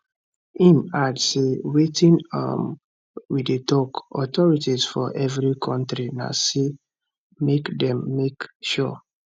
im add say wetin um we dey tok authorities for every kontri na say make dem make sure